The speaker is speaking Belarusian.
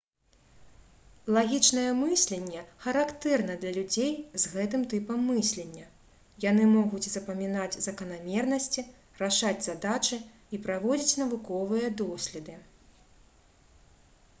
лагічнае мысленне характэрна для людзей з гэтым тыпам мыслення яны могуць запамінаць заканамернасці рашаць задачы і праводзіць навуковыя доследы